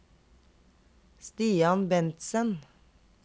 Stian Bentsen